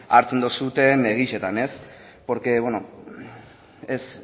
hartzen duzuen benetan porque es